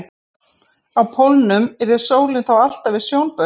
Á pólunum yrði sólin þá alltaf við sjónbaug.